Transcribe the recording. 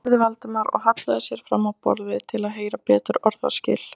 spurði Valdimar og hallaði sér fram á borðið til að heyra betur orðaskil.